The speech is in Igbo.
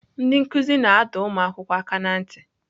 Ndị nkụzi na-adọ ụmụ akwụkwọ aka ná ntị.